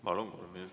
Palun, kolm minutit!